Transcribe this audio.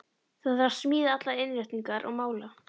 Það þarf að smíða allar innréttingar og mála.